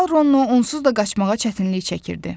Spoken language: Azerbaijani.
Topal Rono onsuz da qaçmağa çətinlik çəkirdi.